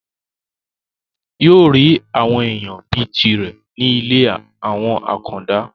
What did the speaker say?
yóò rí àwọn èèyàn bíi tirẹ̀ ní ilé àwọn àkàndá